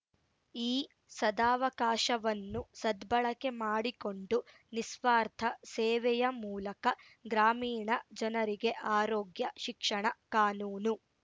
ಈ ಸದಾವಕಾಶವನ್ನು ಸದ್ಭಳಕೆ ಮಾಡಿಕೊಂಡು ನಿಸ್ವಾರ್ಥ ಸೇವೆಯ ಮೂಲಕ ಗ್ರಾಮೀಣ ಜನರಿಗೆ ಆರೋಗ್ಯ ಶಿಕ್ಷಣ ಕಾನೂನು